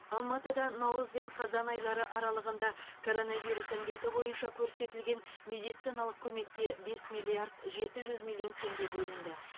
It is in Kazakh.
алматыда наурыз бен қазан айлары аралығында коронавирус індеті бойынша көрсетілген медициналық көмекке бес миллиард жеті жүз миллион теңге бөлінді